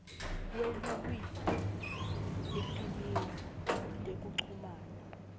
kwelulwimi etimeni tekuchumana